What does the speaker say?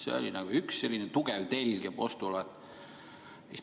See oli üks tugev telg ja postulaat.